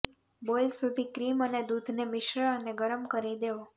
boil સુધી cream અને દૂધને મિશ્ર અને ગરમ કરી દેવો